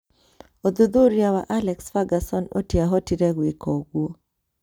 ũthuthuria wa Alex Ferguson ũtĩahotire gwĩka ũguo